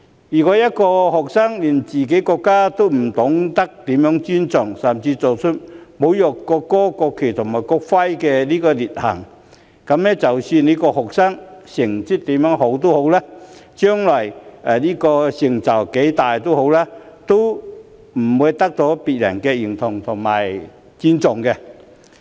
如果一個學生連自己國家也不懂得如何尊重，甚至做出侮辱國歌、國旗和國徽的劣行，那麼即使這個學生成績再好，將來成就再大，都不會得到別人的認同和尊重。